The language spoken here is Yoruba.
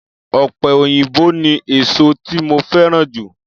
Ọ̀pẹ òyìnbó ni èsó tí mo fẹ́ràn jù.